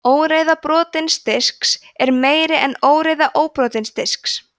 óreiða brotins disks er meiri en óreiða óbrotins disks